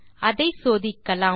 அதை சோதிக்கலாம்